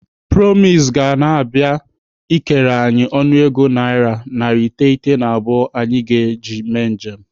Promise ga na-abịa ikere anyị ọnụego naira narị iteghete na abụọ anyị ji aga njem.